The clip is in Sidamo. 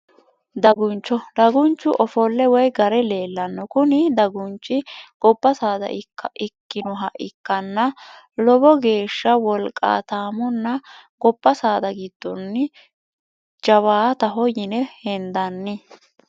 Daguncho, dagunchu ofole woyi garre leellano, kuni dagunichi goba saada ikkinoha ikkana lowo geesha woliqatomonna goba saada gidonni jawaataho yine hendanni